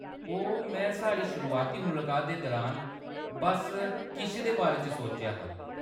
ओह्‌‌, में साढ़ी शुरुआती मुलाकात दे दुरान बस्स किश दे बारे च सोचेआ हा।